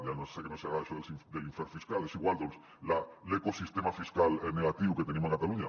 ja sé que no els hi agrada això de l’infern fiscal és igual doncs l’ecosistema fiscal negatiu que tenim a catalunya